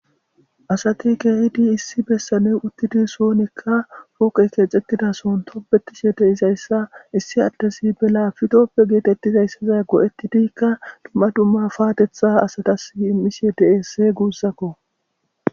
asati geeyidi issi bessaney uttidi soonekka fooqe keexetidason topbetishe de izayssa issi addesi belafitoppe geetettizayssaza go7ettidikka dumma dumma paatetha asatas immishiye deesse guussakko